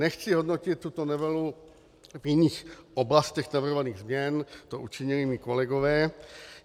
Nechci hodnotit tuto novelu v jiných oblastech navrhovaných změn, to učinili mí kolegové.